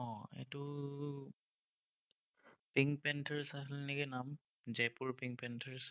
pink panthers আছিল নেকি, নাম। Jaipur pink panthers